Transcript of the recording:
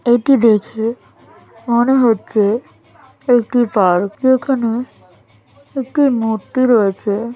এটি দেখে মনে হচ্ছে একটি পার্ক এখানে একটি মূর্তি রয়েছে।